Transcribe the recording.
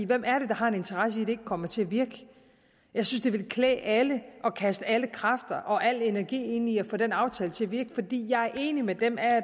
hvem er det der har en interesse i at det ikke kommer til at virke jeg synes det ville klæde alle at kaste alle kræfter og al energi ind i at få den aftale til at virke jeg er enig med dem